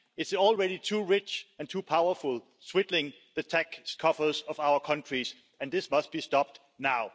It's already too rich and too powerful, swindling the tax coffers of our countries, and this must be stopped now.